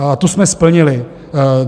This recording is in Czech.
A tu jsme splnili.